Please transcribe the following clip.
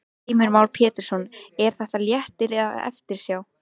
Heimir Már Pétursson: Er þetta léttir eða eftirsjá?